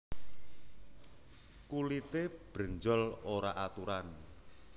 Kulité brenjol ora aturan